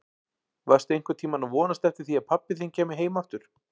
Varstu einhvern tíma að vonast eftir því að pabbi þinn kæmi heim aftur?